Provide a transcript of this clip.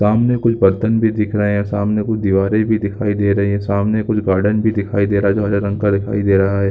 सामने के बर्तन भी दिख रही है सामने कोई दीवारें भी दिख रहे हैं सामने कुछ गार्डन भी जो हरे रंग का दिखाई दे रहा है।